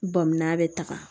Bɔnmina bɛ taga